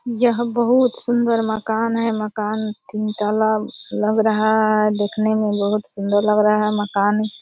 यह बहुत सुंदर मकान है मकान तीन तल्ला लग रहा है देखने में बहुत सुंदर लग रहा है मकान ।